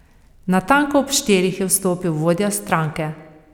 Natanko ob štirih je vstopil vodja stranke.